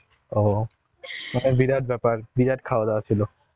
ও বিরাট ব্যাপার বিরাট খাওয়া-দাওয়া ছিল